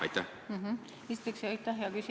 Aitäh, hea küsija!